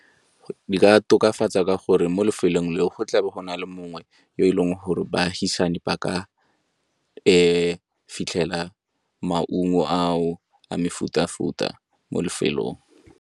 Di ka tokafatsa ka gore mo lefelong le go tlabo go na le mongwe yo e leng gore baagisane ba ka fitlhela maungo ao a mefuta-futa mo lefelong.